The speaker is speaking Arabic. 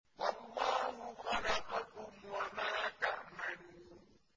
وَاللَّهُ خَلَقَكُمْ وَمَا تَعْمَلُونَ